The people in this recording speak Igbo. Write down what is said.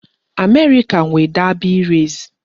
America nwe Derby race